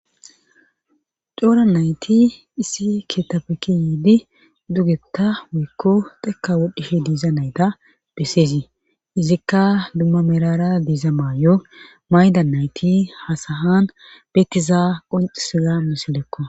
coora nayti issi keetape kiyiidi dugetta wiyikko tekka wodhedi diiza nayta besseezii izikka dumma merara diiza maayo mayda nayti ha sahan beetiza qoncisiza misilekko